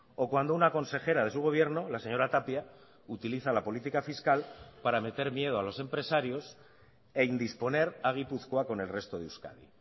o cuando una consejera de su gobierno la señora tapia utiliza la política fiscal para meter miedo a los empresarios e indisponer a gipuzkoa con el resto de euskadi